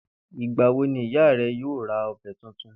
Ìgbà wo ni ìyá re̩ yóò ra ò̩be̩ tuntun?